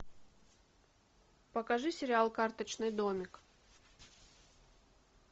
покажи сериал карточный домик